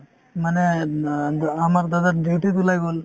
মানে অ দ আমাৰ দাদাৰ duty ত ওলাই গ'ল